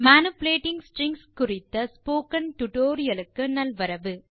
manipulating strings குறித்த tutorial க்கு நல்வரவு